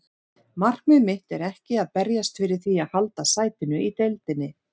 Markmið mitt er ekki að berjast fyrir því að halda sætinu í deildinni.